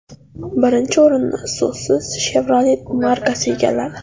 Birinchi o‘rinni so‘zsiz Chevrolet markasi egalladi.